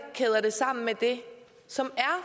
kæder det sammen med det som er